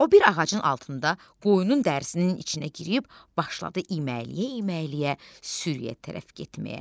O bir ağacın altında qoyunun dərisinin içinə girib, başladı iməkləyə-iməkləyə sürüyyə tərəf getməyə.